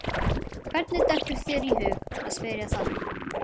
Hvernig dettur þér í hug að spyrja þannig?